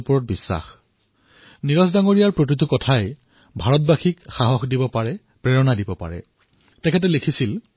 আমি ভাৰতীয়সকলেও নীৰজ মহোদয়ৰ প্ৰতিটো কথাৰ পৰা শক্তি পাওঁ প্ৰেৰণা পাঁও তেওঁ লিখিছিল